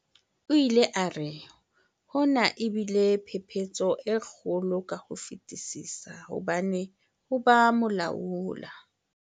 O ile a re, "Hona e bile phephetso e kgolo ka ho fetisisa hobane ho ba molaola"